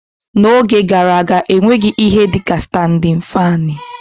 N'oge gara aga, e nweghị ihe dị ka standịn faanị